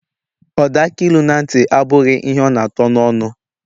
Ọda akilu na ntị, abụghị ihe ọ na atọ n'ọnụ.